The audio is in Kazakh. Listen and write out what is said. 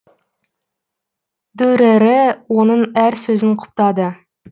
дүрэрэ оның әр сөзін құптады